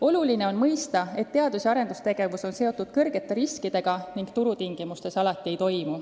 Oluline on mõista, et teadus- ja arendustegevus on seotud suurte riskidega ning turutingimustes see alati ei sobi.